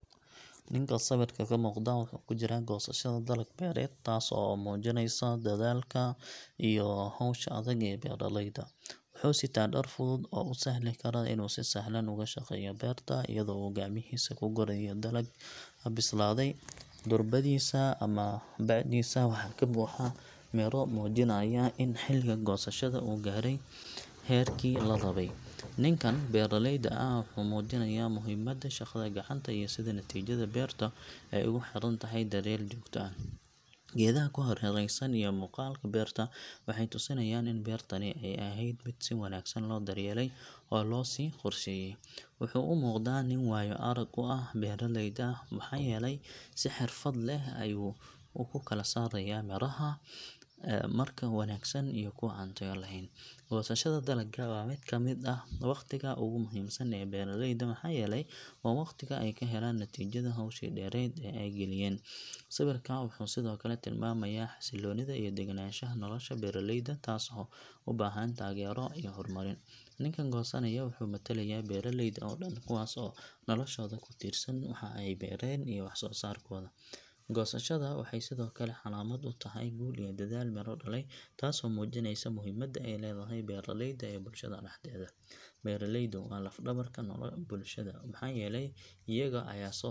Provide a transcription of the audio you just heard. Ninka sawirka ka muuqda wuxuu ku jiraa goosashada dalag beereed taas oo muujinaysa dadaalka iyo hawsha adag ee beeraleyda. Wuxuu sitaa dhar fudud oo u sahli kara inuu si sahlan ugu shaqeeyo beerta iyadoo uu gacmihiisa ku gurayo dalagga bislaaday. Durbadiisa ama bacdiisa waxaa ka buuxa miro muujinaya in xilliga goosashada uu gaaray heerkii la rabay. Ninkan beeraleyda ah wuxuu muujinayaa muhiimadda shaqada gacanta iyo sida natiijada beertu ay ugu xirantahay daryeel joogto ah. Geedaha ku hareeraysan iyo muuqaalka beerta waxay tusinayaan in beertani ay ahayd mid si wanaagsan loo daryeelay oo loo sii qorsheeyay. Wuxuu u muuqdaa nin waayo arag u ah beeralayda maxaa yeelay si xirfad leh ayuu u kala saaraya miraha wanaagsan iyo kuwa aan tayo lahayn. Goosashada dalagga waa mid ka mid ah waqtiga ugu muhiimsan ee beeraleyda maxaa yeelay waa waqtiga ay ka helaan natiijada howshii dheerayd ee ay galiyeen. Sawirka wuxuu sidoo kale tilmaamayaa xasilloonida iyo degenaanshaha nolosha beeraleyda taas oo u baahan taageero iyo horumarin. Ninkan goosanaya wuxuu matalaya beeraleyda oo dhan kuwaas oo noloshooda ku tiirsan waxa ay beeraan iyo wax soo saarkooda. Goosashadu waxay sidoo kale calaamad u tahay guul iyo dadaal miro dhalay taasoo muujinaysa muhiimadda ay leedahay beeraleydu ee bulshada dhexdeeda. Beeraleydu waa laf dhabarka bulshada maxaa yeelay iyaga ayaa soo .